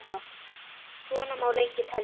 Svona má lengi telja.